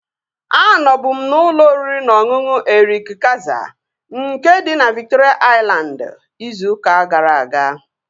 Anọbu m n'ụlọ oriri na ọṅụṅụ Erik Kayzer, nke dị na Viktoria Aịlandị, izu ụka gara aga